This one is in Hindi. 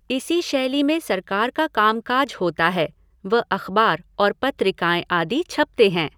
इसी शैली में सरकार का कामकाज होता है व अख़बार और पत्रिकाए आदि छपते हैं।